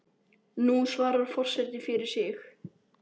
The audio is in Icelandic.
Nú svarar forseti fyrir sig.